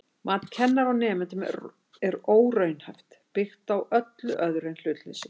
Mat kennara á nemendum er óraunhæft, byggt á öllu öðru en hlutleysi.